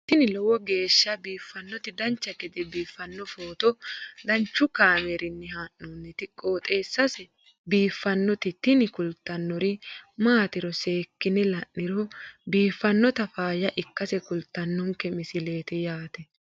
tini lowo geeshsha biiffannoti dancha gede biiffanno footo danchu kaameerinni haa'noonniti qooxeessa biiffannoti tini kultannori maatiro seekkine la'niro biiffannota faayya ikkase kultannoke misileeti yaate